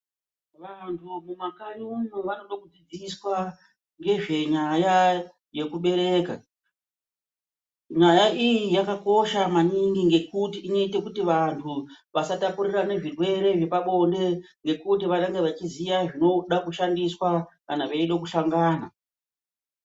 Vantu mumakanyi umo vanoda kudzidziswa ngezvenyaya yekubereka. Nyaya iyi yakakosha maningi ngekuti inoite kuti vantu vasatapurirane zvirwere zvepabonde